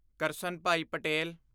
Karsanbhai Patel